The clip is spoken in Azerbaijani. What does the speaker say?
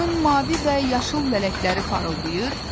Onun mavi və yaşıl lələkləri parıldayır.